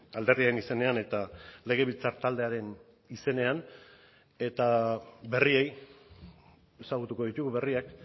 alderdien izenean eta legebiltzar taldearen izenean eta berriei ezagutuko ditugu berriak